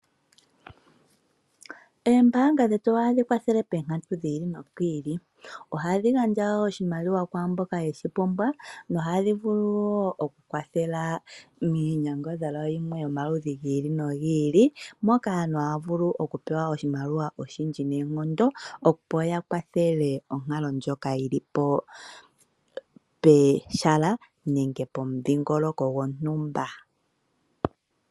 Oombaanga dhetu ohadhi kwathelepoonkatu dhi ili nodhi ili. Ohadhi gandja oshimaliwa kwaa mboka ye shi pumbwa nohadhi vulu wo okukwathela miinyangadhalwa yi ili noyi ili, moka aantu haya vulu okupewa oshimaliwa oshindji noonkondo, opo ya kwathele onkalo ndjoka yi li pehala nenge pomudhingoloko gontumba.